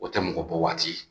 O tɛ mɔgɔ bɔ waati